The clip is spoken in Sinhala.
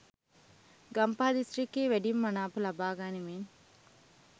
ගම්පහ දිස්ත්‍රික්කයේ වැඩිම මනාප ලබාගනිමින්